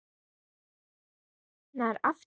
Hvenær lauk henni aftur?